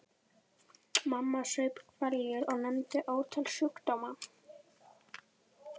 Mamma saup hveljur og nefndi ótal sjúkdóma.